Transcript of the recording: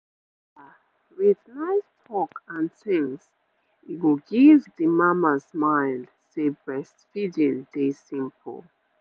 the kin talk and tin go give the mama smile and the breastfeeding dey simple